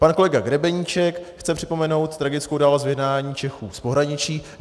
Pan kolega Grebeníček chce připomenout tragickou událost vyhnání Čechů z pohraničí.